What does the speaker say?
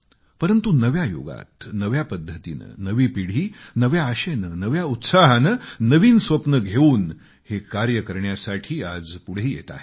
परंतु नव्या युगात नव्या पद्धतीने नवी पिढी नव्या आशेने नव्या उत्साहाने नवीन स्वप्नं घेऊन हे कार्य करण्यासाठी आज पुढे येत आहे